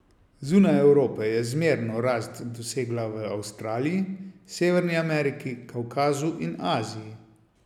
Zunaj Evrope je zmerno rast dosegla v Avstraliji, Severni Ameriki, Kavkazu in Aziji.